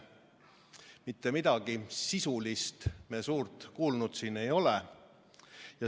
Mitte midagi sisulist me suurt kuulnud ei ole.